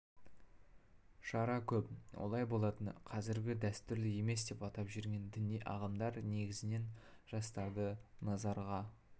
шара көп олай болатыны қазіргі дәстүрлі емес деп атап жүрген діни ағымдар негізінен жастарды назарға